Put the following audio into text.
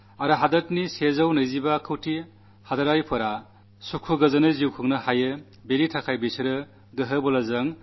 നാട്ടിലെ നൂറ്റിഇരുപത്തിയഞ്ചുകോടി ജനങ്ങളും സുഖമായും സമാധാനത്തോടും ജീവിക്കുവാൻ പരമാവധി പരാക്രമത്തിന് അവർ തയ്യാറാകും